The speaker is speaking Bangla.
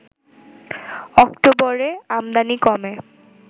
অক্টোবরে আমদানি কমে